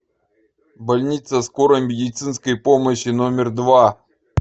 больница скорой медицинской помощи номер два